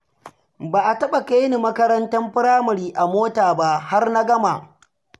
Ba a taɓa kaini makarantar Firamare a mota ba har na gama.